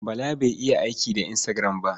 Bala bai iya aiki da Instagram ba.